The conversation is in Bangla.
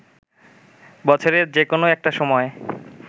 বছরের যে কোনো একটা সময়